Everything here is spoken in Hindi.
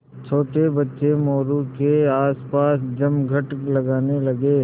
छोटे बच्चे मोरू के आसपास जमघट लगाने लगे